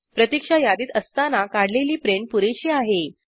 प्रतिक्षा यादीत असताना काढलेली प्रिंट पुरेशी आहे